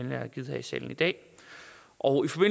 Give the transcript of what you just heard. jeg har givet her i salen i dag og